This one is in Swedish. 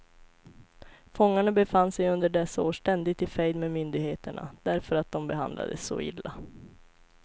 Fångarna befann sig under dessa år ständigt i fejd med myndigheterna, därför att de behandlades så illa.